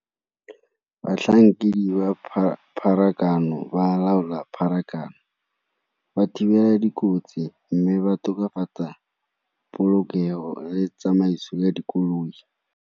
Batlhankedi pharakano ba laola pharakano, ba thibela dikotsi mme ba tokafatsa polokego le tsamaiso ya dikoloi.